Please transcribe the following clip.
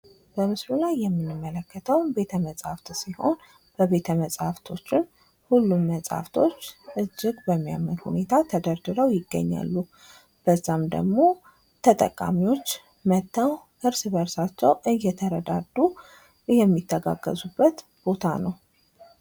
በምስሉ ላይ የምንመለከተው ቤተ መፅሃፍት ሲሆን በቤተ መፅሃፍቶቹ ሁሉም መፃህፍቶች እጅግ በሚያምር ሁኔታ ተደርድረው ይገኛሉ። በዛም ደግሞ ተጠቃሚዎች መጠው እርስ በእርሳቸው እየተረዱ የሚተጋገዙበት ቦታ ነው።